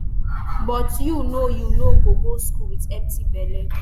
but you no you no go go school wit empty belle